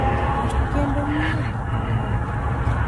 Kendo ng’iyo gik mang’eny.